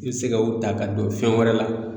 I be se ka o ta ka don fɛn wɛrɛ la